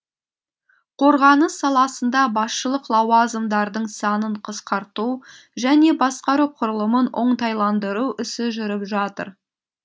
қорғаныс саласында басшылық лауазымдардың санын қысқарту және басқару құрылымын оңтайландыру ісі жүріп жатыр